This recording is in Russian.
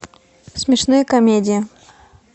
смешные комедии